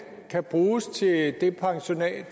tak